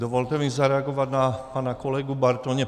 Dovolte mi zareagovat na pana kolegu Bartoně.